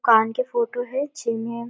दुकान के फोटो है जेमे--